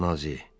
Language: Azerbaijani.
Nazzi.